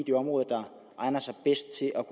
det område der egner sig bedst til at